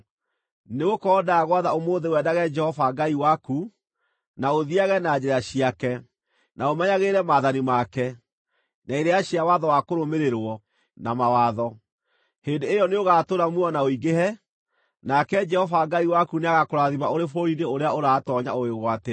Nĩgũkorwo ndagwatha ũmũthĩ wendage Jehova Ngai waku, na ũthiiage na njĩra ciake, na ũmenyagĩrĩre maathani make, na irĩra cia watho wa kũrũmĩrĩrwo, na mawatho; hĩndĩ ĩyo nĩũgatũũra muoyo na ũingĩhe, nake Jehova Ngai waku nĩagakũrathima ũrĩ bũrũri-inĩ ũrĩa ũratoonya ũwĩgwatĩre.